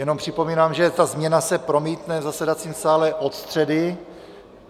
Jenom připomínám, že ta změna se promítne v zasedacím sále od středy.